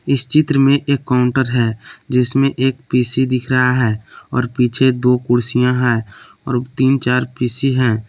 इस चित्र में एक काउंटर है जिसमें एक पी_सी दिख रहा है और पीछे दो कुर्सियां हैं और तीन चार पी_सी हैं।